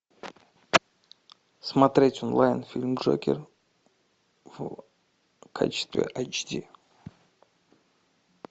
смотреть онлайн фильм джокер в качестве эйч ди